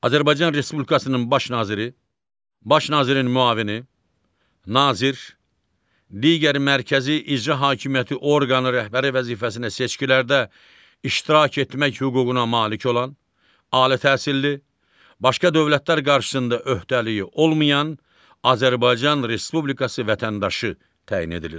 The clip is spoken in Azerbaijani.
Azərbaycan Respublikasının Baş Naziri, Baş Nazirin müavini, Nazir, digər mərkəzi icra hakimiyyəti orqanı rəhbəri vəzifəsinə seçkilərdə iştirak etmək hüququna malik olan, ali təhsilli, başqa dövlətlər qarşısında öhdəliyi olmayan Azərbaycan Respublikası vətəndaşı təyin edilir.